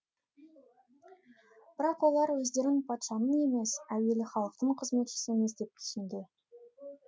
бірақ олар өздерін патшаның емес әуелі халықтың қызметшісіміз деп түсінді